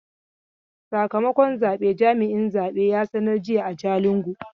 Sakamakon zabe jami'in zabe ya sanar jiya a Jalingo.